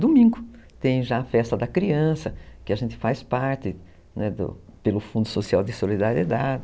Domingo tem já a festa da criança, que a gente faz parte pelo Fundo Social de Solidariedade.